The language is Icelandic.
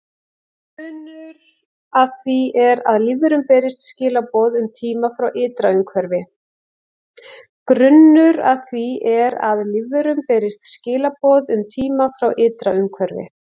Grunnur að því er að lífverum berist skilaboð um tíma frá ytra umhverfi.